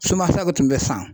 de tun bɛ San